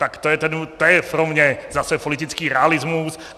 Tak to je pro mě zase politický realismus.